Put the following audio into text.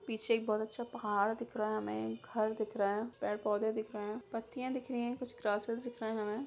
पीछे एक बहोत अच्छा पहाड़ दिख रहा है हमें एक घर दिख रहा है पेड़-पौधे दिख रहे हैं पत्तियाँ दिख रही है कुछ ग्रासेस दिख रहे हैं हमें।